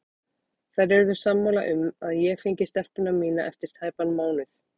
Þær urðu sammála um að ég fengi stelpuna mína eftir tæpan mánuð.